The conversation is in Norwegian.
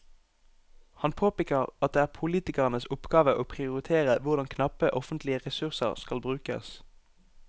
Han påpeker at det er politikernes oppgave å prioritere hvordan knappe offentlige ressurser skal brukes.